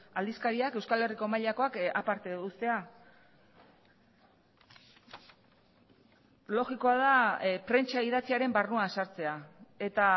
aldizkariak euskal herriko mailakoak aparte ustea logikoa da prentsa idatziaren barruan sartzea eta